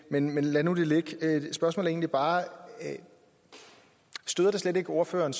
men men lad nu det ligge mit spørgsmål er egentlig bare støder det slet ikke ordføreren